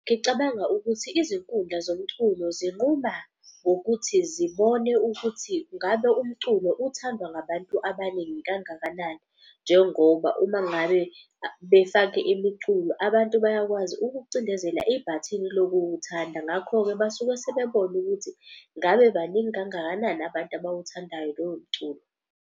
Ngicabanga ukuthi izinkundla zomculo zinquma ngokuthi zibone ukuthi ngabe umculo uthandwa ngabantu abaningi kangakanani. Njengoba uma ngabe befake imiculo, abantu bayakwazi ukucindezela ibhathini lokuwuthanda. Ngakho-ke basuke sebebona ukuthi ngabe baningi kangakanani abantu abawuthandayo lowo mculo.